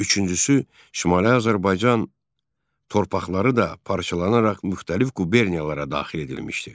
Üçüncüsü, Şimali Azərbaycan torpaqları da parçalanaraq müxtəlif quberniyalara daxil edilmişdi.